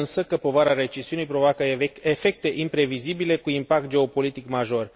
Iată însă că povara recesiunii provoacă efecte imprevizibile cu impact geopolitic major.